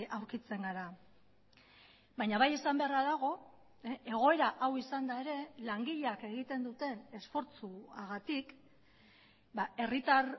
aurkitzen gara baina bai esan beharra dago egoera hau izanda ere langileak egiten duten esfortzuagatik herritar